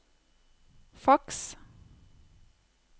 faks